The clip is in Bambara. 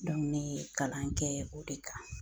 ne ye kalan kɛ o de kan.